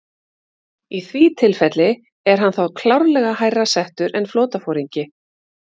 Í því tilfelli er hann þá klárlega hærra settur en flotaforingi.